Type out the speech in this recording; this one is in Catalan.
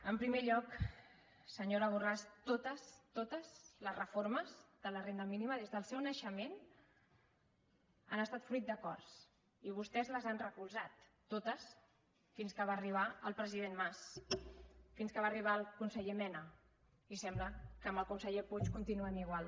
en primer lloc senyora borràs totes totes les reformes de la renda mínima des del seu naixement han estat fruit d’acords i vostès les han recolzat totes fins que va arribar el president mas fins que va arribar el conseller mena i sembla que amb el conseller puig continuen igual